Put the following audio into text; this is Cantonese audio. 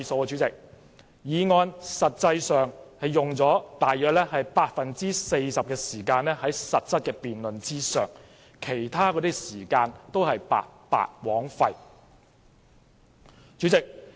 這項議案的實質辯論實際上只用了 40% 的時間，其他時間都是白白枉費。